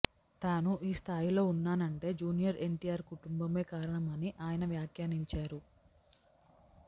తాను ఈ స్థాయిలో ఉన్నానంటే జూనియర్ ఎన్టీఆర్ కుటుంబమే కారణమని ఆయన వ్యాఖ్యానించారు